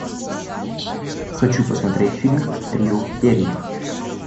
хочу посмотреть фильм трио в перьях